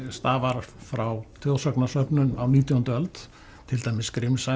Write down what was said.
stafar frá þjóðsagnasöfnun á nítjándu öld til dæmis